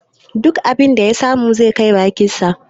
Duk abin da ya samu sai ya kai bakinsa.